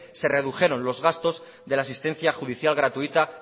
se redujeron los gastos de la asistencia judicial gratuita